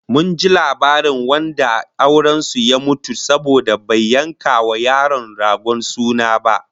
Mun ji labarin wanda auren su ya mutu saboda bai yanka wa yaro ragon suna ba